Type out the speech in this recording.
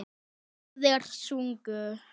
Báðir sungu.